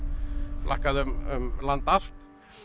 flakkaði um land allt